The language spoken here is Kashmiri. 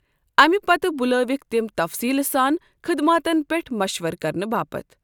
اَمہِ پتہٕ بلٲوِكھ تِم تفصیلہٕ سان خدماتن پٮ۪ٹھ مشورٕ كرنہٕ باپت۔